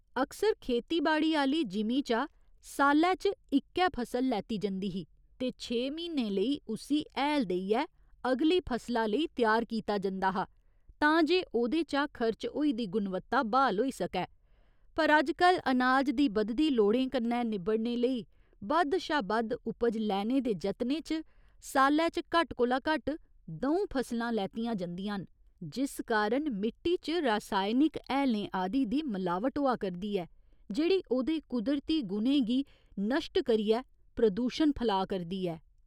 अक्सर खेतीबाड़ी आह्‌ली जिमीं चा साल्लै च इक्कै फसल लैत्ती जंदी ही ते छे म्हीनें लेई उस्सी हैल देइयै अगली फसला लेई त्यार कीता जंदा हा तां जे ओह्दे चा खरच होई दी गुणवत्ता ब्हाल होई सकै पर अजकल अनाज दी बधदी लोड़ें कन्नै निबड़ने लेई बद्ध शा बद्ध उपज लैने दे जतनें च साल्लै च घट्ट कोला घट्ट द'ऊं फसलां लैत्तियां जंदियां न जिस कारण मिट्टी च रासायनिक हैलें आदि दी मलावट होआ करदी ऐ जेह्ड़ी ओह्दे कुदरती गुणें गी नश्ट करियै प्रदूशण फलाऽ करदी ऐ।